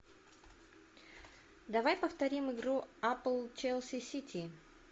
давай повторим игру апл челси сити